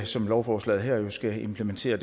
som lovforslaget her jo skal implementere